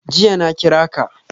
Jiya na kira ka.